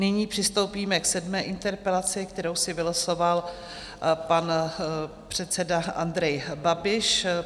Nyní přistoupíme k sedmé interpelaci, kterou si vylosoval pan předseda Andrej Babiš.